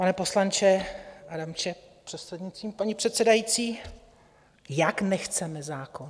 Pane poslanče Adamče, prostřednictvím paní předsedající - jak, nechceme zákon?